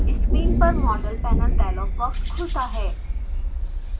screen पर model panel dialog box खुलता है